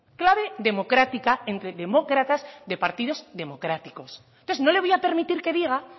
clave democrática entre demócratas de partidos democráticos entonces no le voy a permitir que diga